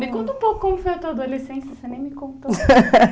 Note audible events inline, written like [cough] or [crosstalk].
Me conta um pouco como foi a tua adolescência, você nem me contou. [laughs]